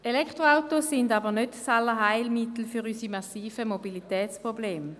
Elektroautos sind aber nicht das Allheilmittel für unsere massiven Mobilitätsprobleme.